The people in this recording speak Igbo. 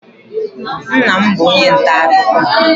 Nna m bụ onye nta akụkọ.